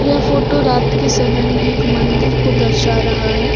यह फोटो रात के समय में एक मंदिर को दर्शा रहा है।